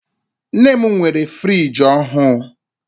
Nne m nwere friji ọhụụ.